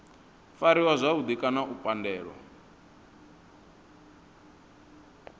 fariwa zwavhudi kana u pandelwa